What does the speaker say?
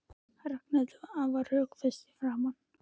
Ragnhildur var afar rökföst í framan.